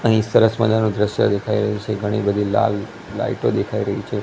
અહીં સરસ મજાનુ દ્રશ્ય દેખાય રહ્યુ છે ઘણી બધી લાલ લાઈટો દેખાય રહી છે.